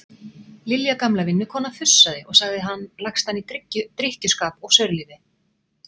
Lilja gamla vinnukona fussaði og sagði hann lagstan í drykkjuskap og saurlífi.